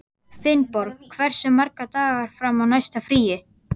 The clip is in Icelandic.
Finnborg, hversu margir dagar fram að næsta fríi?